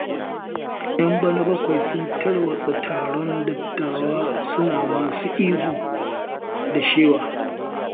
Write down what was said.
Yan bana-bakwai sun tarwatsa taron dattawan, suna masu ihu da shewa.